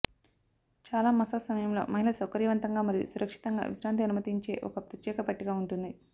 చాలా మసాజ్ సమయంలో మహిళ సౌకర్యవంతంగా మరియు సురక్షితంగా విశ్రాంతి అనుమతించే ఒక ప్రత్యేక పట్టిక ఉంటుంది